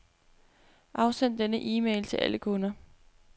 Afsend denne e-mail til alle kunder.